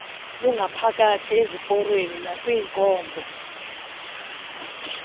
langaphakathi eziporweni nakwinkonzo